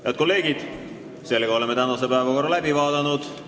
Head kolleegid, oleme tänase päevakorra punktid läbi vaadanud.